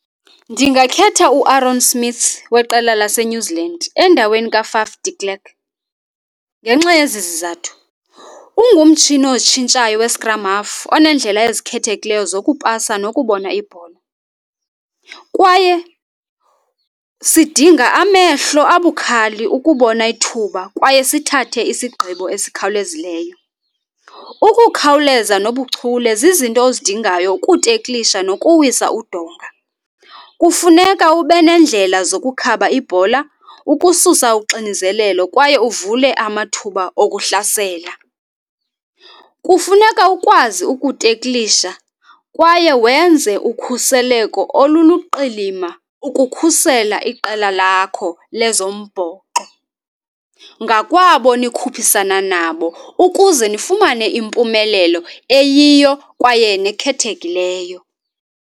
Ndingakhetha uAaron Smith weqela laseNew Zealand endaweni kaFaf de Klerk. Ngenxa yezi zizathu, ungumtshini ozitshintshayo we-scrum half oneendlela ezikhethekileyo zokupasa nokubona ibhola, kwaye sidinga amehlo abukhali ukubona ithuba kwaye sithathe isigqibo esikhawulezileyo. Ukukhaweleza nobuchule zizinto ozidingayo ukuteklisha nokuwisa udonga. Kufuneka ube neendlela zokukhaba ibhola, ukususa uxinizelelo kwaye uvule amathuba okuhlasela. Kufuneka ukwazi ukuteklisha kwaye wenze ukhuseleko oluluqilima ukukhusela iqela lakho lezombhoxo ngakwabo nikhuphisana nabo ukuze nifumane impumelelo eyiyo kwaye nekhethekileyo.